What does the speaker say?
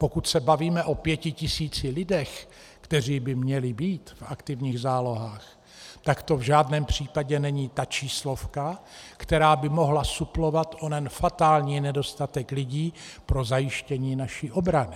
Pokud se bavíme o 5 tisících lidech, kteří by měli být v aktivních zálohách, tak to v žádném případě není ta číslovka, která by mohla suplovat onen fatální nedostatek lidí pro zajištění naší obrany.